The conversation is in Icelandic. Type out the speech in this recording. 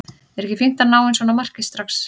Er ekki fínt að ná inn svona marki strax?